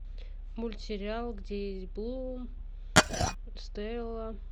мультсериал где есть блум стелла